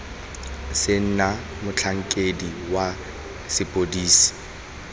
se na motlhankedi wa sepodisi